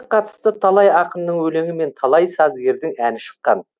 қатысты талай ақынның өлеңі мен талай сазгердің әні шыққан